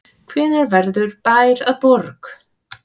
Hvenær verður bær að borg?